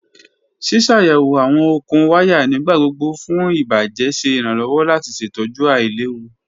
Ṣiṣayẹwo awọn okun waya nigbagbogbo fun ibajẹ ṣe iranlọwọ lati ṣetọju ailewu